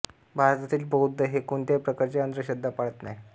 भारतातील बौद्ध हे कोणत्याही प्रकारच्या अंधश्रद्धा पाळत नाही